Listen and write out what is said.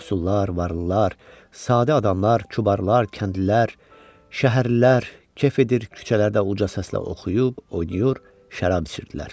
Yoxsullar, varlılar, sadə adamlar, cubarlar, kəndlilər, şəhərlilər kef edir, küçələrdə uca səslə oxuyub, oynayıb, şərab içirdilər.